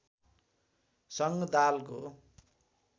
स‌‌ङ्ग दालको